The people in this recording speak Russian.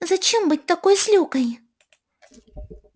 зачем быть такой злюкой